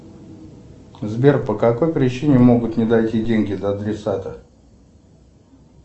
сбер по какой причине могут не дойти деньги до адресата